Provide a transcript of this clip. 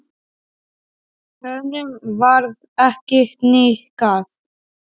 Hann virti hana fyrir sér.